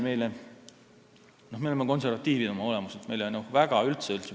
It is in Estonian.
Teine asi, me oleme oma olemuselt konservatiivid.